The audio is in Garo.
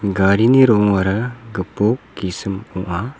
garini rongara gipok gisim ong·a.